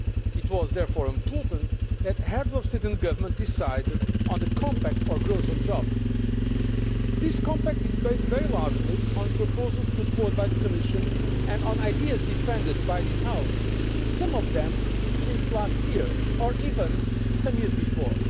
It was therefore important that Heads of State and Government decided on the Compact for Growth and Jobs. This compact is based very largely on proposals put forward by the Commission and on ideas defended by this House, some of them since last year or even some years before.